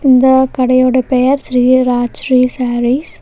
இந்த கடையோட பெயர் ஸ்ரீ ராஜ்ஸ்ரீ சாரீஸ் .